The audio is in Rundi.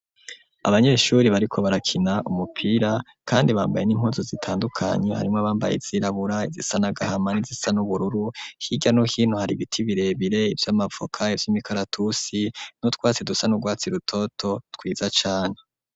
Abanyeshure bariko barakina umupira kandi bambaye n'impuzu zitandukanye harimwo abambaye izirabura izisana gahama n'izisa n'ubururu hirya no hino hari ibiti birebire ivy'amavoka ivy'imikaratusi n'utwatsi dusa n'urwatsi rutoto twiza cane.